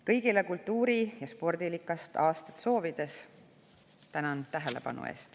Kõigile kultuuri‑ ja spordirikast aastat soovides tänan tähelepanu eest.